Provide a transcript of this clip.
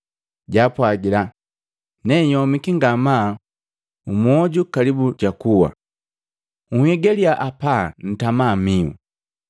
Jaapwagila, “Neyomiki ngamaa mmyoju kalibu jakuwa. Nhigalya hapa ntama mihu.”